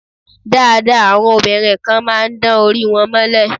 Dáadáa, àwọn obìnrin kan máa ń dán orí wọn mọ́lẹ̀.